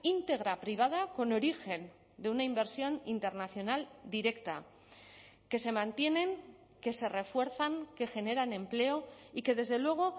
integra privada con origen de una inversión internacional directa que se mantienen que se refuerzan que generan empleo y que desde luego